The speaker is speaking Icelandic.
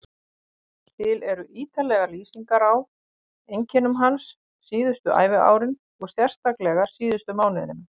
Til eru ítarlegar lýsingar á einkennum hans síðustu æviárin og sérstaklega síðustu mánuðina.